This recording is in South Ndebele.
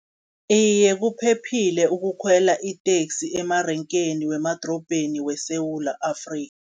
Iye, kuphephile ukukhwela iteksi emarengeni wemadorobheni weSewula Afrika